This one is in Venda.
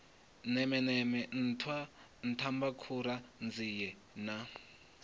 nemeneme nṱhwa nṱhwamakhura nzie na